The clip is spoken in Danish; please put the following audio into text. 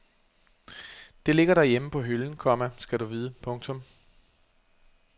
Det ligger derhjemme på hylden, komma skal du vide. punktum